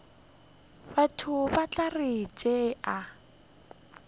batho ba tla re tšea